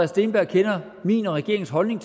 steenberg kender min og regeringens holdning